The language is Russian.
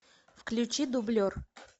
включи дублер